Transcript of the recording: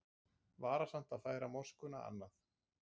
Varasamt að færa moskuna annað